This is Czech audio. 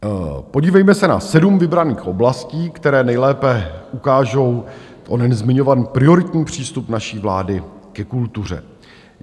Podívejme se na sedm vybraných oblastí, které nejlépe ukážou onen zmiňovaný prioritní přístup naší vlády ke kultuře.